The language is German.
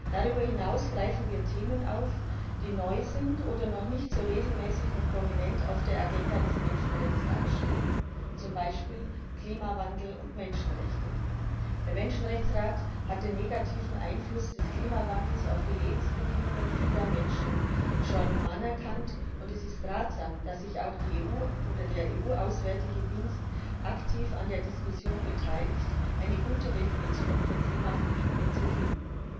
Darüber hinaus greifen wir Themen auf, die neu sind oder noch nicht so regelmäßig und prominent auf der Agenda des Menschenrechtsrats stehen, zum Beispiel Klimawandel und Menschenrechte. Der Menschenrechtsrat hat den negativen Einfluss des Klimawandels auf die Lebensbedingungen vieler Menschen schon anerkannt, und es ist ratsam, dass sich auch die EU oder der Auswärtige Dienst der EU aktiv an der Diskussion beteiligt, eine gute Definition für Klimaflüchtlinge zu finden.